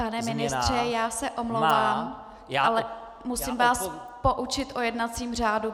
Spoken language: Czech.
Pane ministře, já se omlouvám, ale musím vás poučit o jednacím řádu.